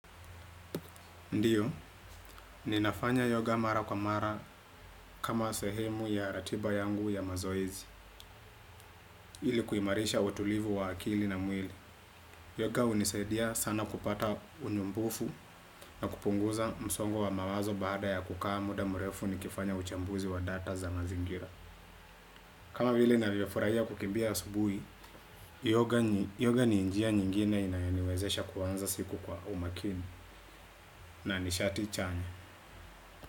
Ndio, ninafanya yoga mara kwa mara kama sehemu ya ratiba yangu ya mazoezi. Ili kuimarisha utulivu wa akili na mwili yoga hunisaidia sana kupata unyumbufu na kupunguza msongo wa mawazo baada ya kukaa muda mrefu nikifanya uchambuzi wa data za mazingira kama vile ninavyofurahia kukimbia asubuhi, yoga ni njia nyingine inayoniwezesha kuanza siku kwa umakini na nishati chanya.